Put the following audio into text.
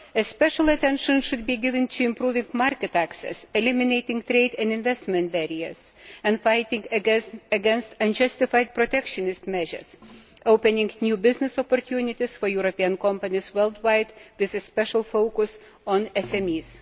Special attention should be given to improving market access, eliminating trade and investment barriers and fighting against unjustified protectionist measures, and opening up new business opportunities for European companies worldwide, with special focus on SMEs.